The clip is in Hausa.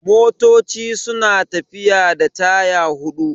Motoci suna tafiya da taya hudu